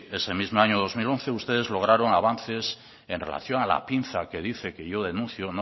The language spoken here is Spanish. ese mismo año dos mil once ustedes lograron avances en relación a la pinza que dice que yo denuncio